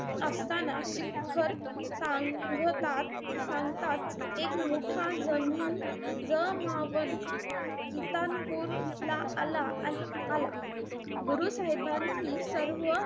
असताना शिखर सांगतात-सांगतात एक मोठा जमीन जमावन किटतानपूरला आला-आला. गुरु साहेबांनी,